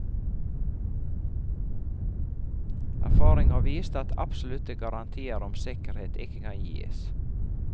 Erfaringer har vist at absolutte garantier om sikkerhet ikke kan gis.